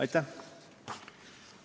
" Aitäh!